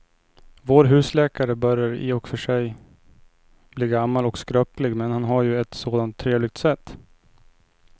Vår husläkare börjar i och för sig bli gammal och skröplig, men han har ju ett sådant trevligt sätt!